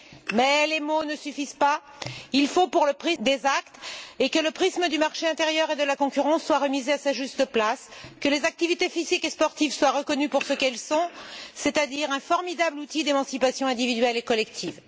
Mais les mots ne suffisent pas. Il faut des actes et que le prisme du marché intérieur et de la concurrence soit remis à sa juste place, que les activités physiques et sportives soient reconnues pour ce qu'elles sont, c'est à dire un formidable outil d'émancipation individuelle et collective.